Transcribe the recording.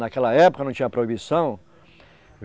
Naquela época não tinha proibição.